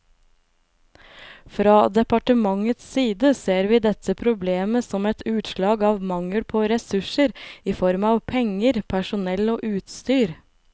Fra departementets side ser vi dette problemet som et utslag av mangel på ressurser i form av penger, personell og utstyr.